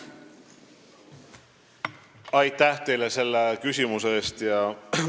Aitäh teile selle küsimuse eest!